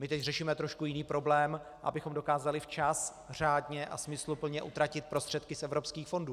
My teď řešíme trošku jiný problém, abychom dokázali včas řádně a smysluplně utratit prostředky z evropských fondů.